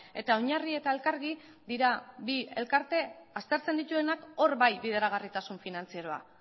eta oinarri eta elkargi dira bi elkarte aztertzen dituenak hor bai bideragarritasun finantzieroa